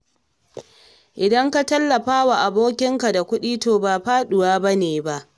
Idan ka tallafawa abokinka da kuɗi, to ba faɗuwa ba ne ba.